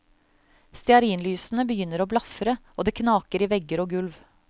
Stearinlysene begynner å blafre og det knaker i vegger og gulv.